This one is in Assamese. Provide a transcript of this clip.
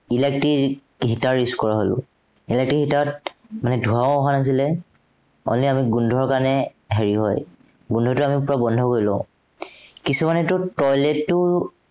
electric heater use কৰা হলো। electric heater ত মানে ধোঁৱাও অহা নাছিলে, only আমি গোন্ধৰ কাৰনে হেৰি হয়। গোন্ধটো আমি পুৰা বন্ধ কৰি লওঁ। কিছুমানতেটো toilet টো